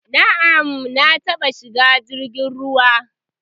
Na'am, na taba shiga jirgin ruwa